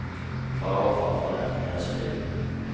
Far og farfar lærte meg å spille.